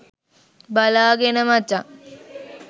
බලාගෙන මචං